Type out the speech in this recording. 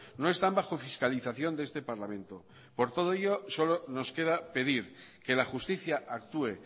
no están bajo fiscalización de este parlamento por todo ello solo nos queda pedir que la justicia actúe